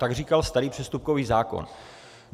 - tak říkal starý přestupkový zákon.